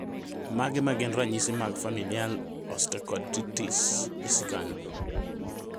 Mage magin ranyisi mag Familial osteochondritis dissecans?